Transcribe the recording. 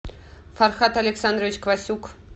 фархат александрович квасюк